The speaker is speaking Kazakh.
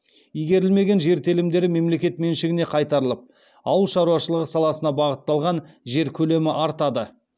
игерілмеген жер телімдері мемлекет меншігіне қайтарылып ауыл шаруашылығы саласына бағытталған жер көлемі артады